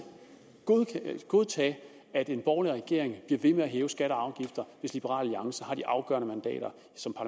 godtage at en borgerlig regering bliver ved med at hæve skatter og afgifter hvis liberal alliance har de afgørende mandater